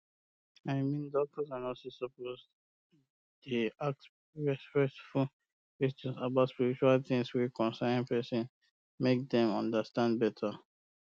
i mean doctors and nurses suppose um dey ask respectful questions about spiritual tins wey concern person make dem understand um better